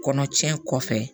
Kɔnɔ tiɲɛ kɔfɛ